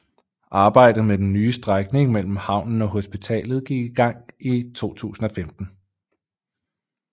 Arbejdet med den nye strækning mellem havnen og hospitalet gik i gang i 2015